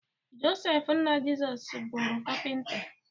Josef nna Jizọs bụrụ Kapịnta